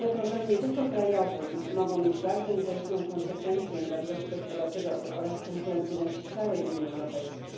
Są one problemem nie tylko krajowym mogą mieć bardzo niekorzystne skutki dla wzrostu gospodarczego oraz konkurencyjności całej Unii Europejskiej.